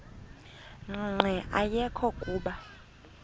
nqe ayekho kuba